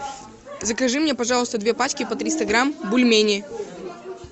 закажи мне пожалуйста две пачки по триста грамм бульмени